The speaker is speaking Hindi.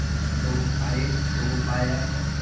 दो गो पाईट दो गो पाया हैं।